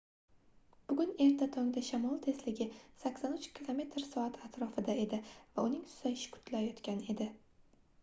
bugun erta tongda shamol tezligi 83 km/s atrofida edi va uning susayishi kutilayotgan edi